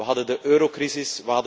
We hadden de eurocrisis.